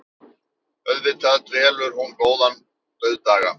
Auðvitað velur hún góðan dauðdaga.